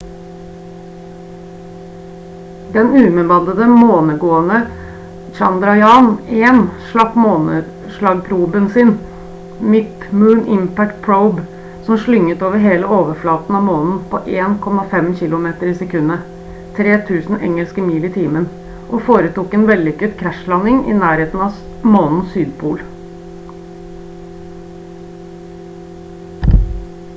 den ubemannede månegående chandrayaan-1 slapp måneslagproben sin mip - moon impact probe som slynget over hele overflaten av månen på 1,5 kilometer i sekundet 3000 engelske mil i timen og foretok en vellykket krasjlanding i nærheten av månens sydpol